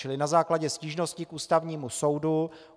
Čili na základě stížnosti k Ústavnímu soudu